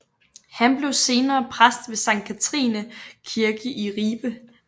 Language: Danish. Han blev senere præst ved Sankt Katharine Kirke i Ribe